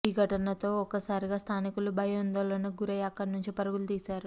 ఈ ఘటనతో ఒక్కసారిగా స్థానికులు భయాందోళనకు గురై అక్కడి నుంచి పరుగులు తీశారు